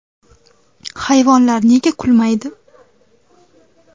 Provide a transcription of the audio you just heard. Hayvonlar nega kulmaydi?.